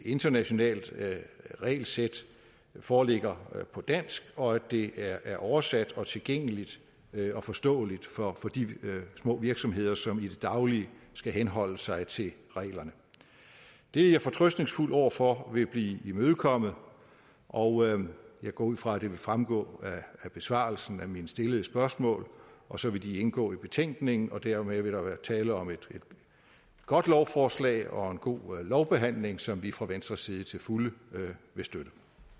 internationalt regelsæt foreligger på dansk og at det er oversat og tilgængeligt og forståeligt for de små virksomheder som i det daglige skal henholde sig til reglerne det er jeg fortrøstningsfuld over for vil blive imødekommet og jeg går ud fra at det vil fremgå af besvarelsen af mine stillede spørgsmål og så vil det indgå i betænkningen og dermed vil der være tale om et godt lovforslag og en god lovbehandling som vi fra venstres side til fulde vil støtte